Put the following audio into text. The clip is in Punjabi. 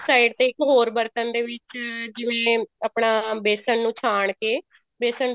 side ਤੇ ਬਰਤਨ ਦੇ ਵਿੱਚ ਜਿਵੇਂ ਆਪਣਾ ਬੇਸਨ ਨੂੰ ਛਾਣ ਕੇ ਬੇਸਨ